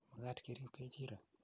mekat kerib kechirek